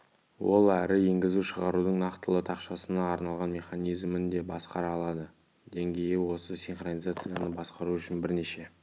ол әрі енгізу-шығарудың нақтылы тақшасына арналған механизмін де басқара алады деңгейі осы синхронизацияны басқару үшін бірнеше